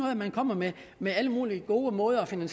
at man kommer med med alle mulige gode måder at finde